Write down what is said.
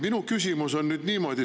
Minu küsimus on nüüd selline.